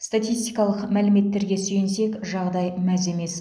статистикалық мәліметтерге сүйенсек жағдай мәз емес